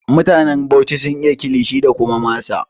Mutanen Bauchi sun iya Kilishi da kuma masa